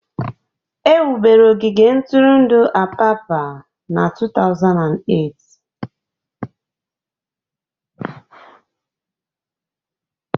Ewubere ogige ntụrụndụ Apapa na 2008